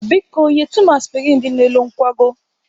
Biko nyetụ m aspirin dị n'elu nkwago.